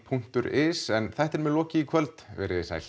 punktur is en þættinum er lokið í kvöld verið þið sæl